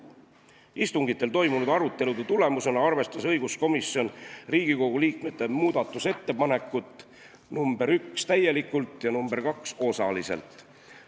Istungitel toimunud arutelude tulemusena arvestas õiguskomisjon Riigikogu liikmete muudatusettepanekut nr 1 täielikult ja nr 2 osaliselt.